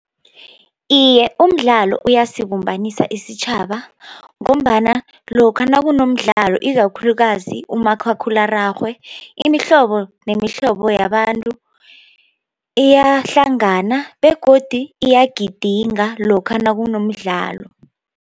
Iye, umdlalo uyasibumbanisa isitjhaba ngombana lokha nakunomdlalo ikakhulukazi umakhakhulararhwe imihlobo nemihlobo yabantu iyahlangana begodu iyagidika lokha nakunomdlalo.